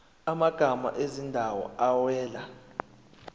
amagama ezindawo awela